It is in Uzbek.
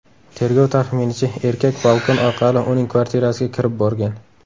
Tergov taxminicha, erkak balkon orqali uning kvartirasiga kirib borgan.